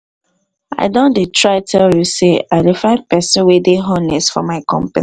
i don dey try tell you say i dey find person wey dey honest for my company